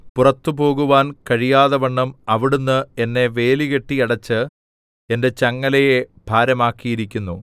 പുറത്തു പോകുവാൻ കഴിയാതവണ്ണം അവിടുന്ന് എന്നെ വേലികെട്ടിയടച്ച് എന്റെ ചങ്ങലയെ ഭാരമാക്കിയിരിക്കുന്നു